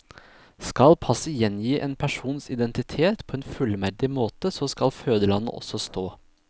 Skal passet gjengi en persons identitet på en fullverdig måte, så skal fødelandet også stå.